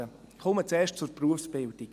Ich komme zuerst zur Berufsbildung.